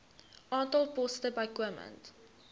aantal poste bykomend